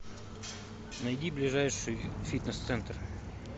найди ближайший фитнес центр